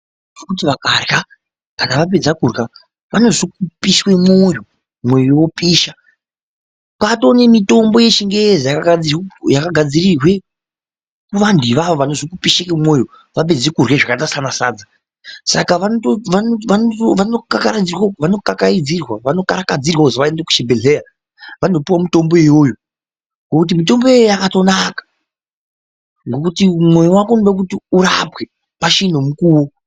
Ngokuti vakarya kana vapedza kurya vanozwe kupishwe mwoyo ,mwoyo wopisha kwaato nemitombo yechingezi yakagadzirirwe kuvanhu ivavo vanozwe kupishe kwemwoyo vapedze kurye zvakaita sana sadza saka vanokarakadzirwa kuti vaende kuchibhehleya vanopuwe mitombo iyoyo ngokuti mitomboyo yakatonaka ngokuti mwoyo wako unode kuti urapwe pachine mukuwo.